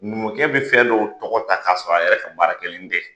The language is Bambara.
Numukɛ be fɛn dɔw tɔgɔ ta ka sɔrɔ a yɛrɛ ka baara kɛlen tɛ.